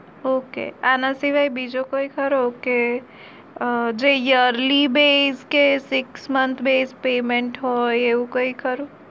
Okay આના સિવાય બીજો કોઈ ખરો કે જે early bech six month bech payment હોય એવું કોઈ ખરું